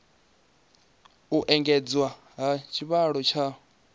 u engedzwa ha tshivhalo tsha